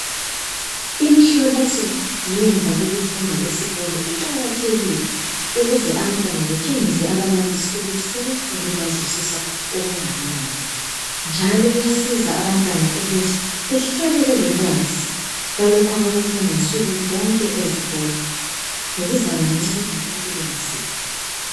Imihloliso ngemva lokufunda esikolo iqakathekile ukuze abantwana batshengise ababalisi ukuthi sebefunde bazwisisa okungakanani . Njalo kuyasiza abantwana ukuthi behlale belolwazi lwalokho abakufunda nsuku zonke ezikolo lokuzabanceda empilweni zabo .